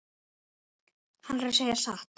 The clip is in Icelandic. Hann er að segja satt.